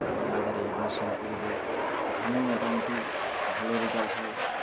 মানবাজারে admission করে দেই সেখানেও মোটামুটি ভালো result হয়